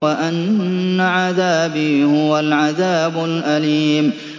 وَأَنَّ عَذَابِي هُوَ الْعَذَابُ الْأَلِيمُ